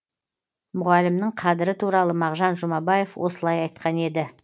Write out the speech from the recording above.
мұғалімнің қадірі туралы мағжан жұмабаев осылай айтқан еді